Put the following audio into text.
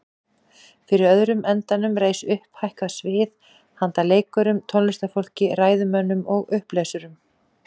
Fyrir öðrum endanum reis upphækkað svið handa leikurum, tónlistarfólki, ræðumönnum og upplesurum.